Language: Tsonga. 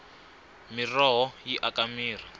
miroho yi aka mirhi